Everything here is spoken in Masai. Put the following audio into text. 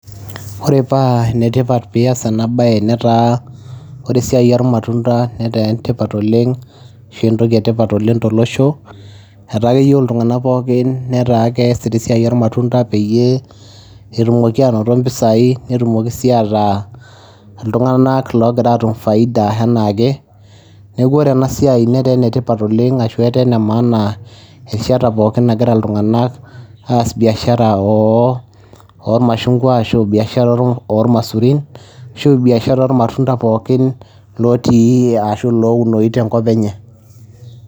Ore paa ene tipat piiyas ena baye netaa ore esiai ormatunda netaa entipat oleng' ashu entoki e tipat oleng' tolosho, etaa keyeu iltung'anak pookin netaa keesita esiai ormatunda peyie etumoki aanoto impisai, netumoki sii ataa iltung'anak loogira aatum faida enaa ake . Neeku ore ena siai netaa ene tipat oleng' ashu etaa ene maana erishata pookin nagira iltung'anak aas biashara oo ormashungwa ashu biashara oo ormasurin ashu biashara ormatunda pookin lotii ashu lounoyu tenkop enye.